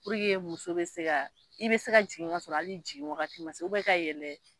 Puruke muso bɛ se ka ,i bɛ se ka jigin ka sɔrɔ hali i jigin waati ma se ka yɛlɛ